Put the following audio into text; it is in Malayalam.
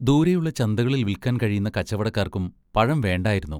ദൂരെയുള്ള ചന്തകളിൽ വിൽക്കാൻ കഴിയുന്ന കച്ചവടക്കാർക്കും പഴം വേണ്ടായിരുന്നു.